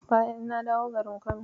Bayan na dawo garin Kano.